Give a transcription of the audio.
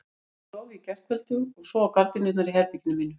Inni í stofu í gærkveldi og svo á gardínurnar í herberginu mínu.